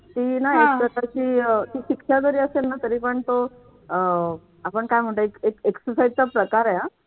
ती ना एक प्रकारची अह शिक्षा असेल ना तरीपण तो अह आपण काय म्हणतो एक exercise चा प्रकार आहे हा